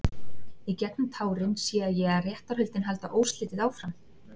Í gegnum tárin sé ég að réttarhöldin halda óslitið áfram.